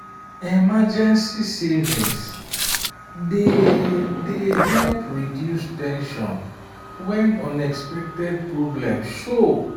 emergency savings dey dey help reduce ten sion when unexpected problem show.